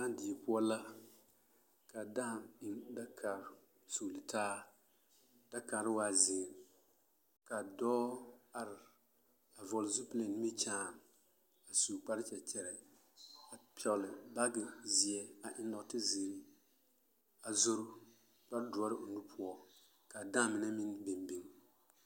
Dãã die poɔ la ka dãã eŋ dakare sugili taa dakare waa zeere ka dɔɔ are a vɔgele zupili eŋ nimikyaane a su kpare kyɛkyɛrɛɛ a pɛgele baagi zeɛ a eŋ nɔɔte zeere a zoro kpare doɔre o nu poɔ k'a dãã mine meŋ biŋ biŋ.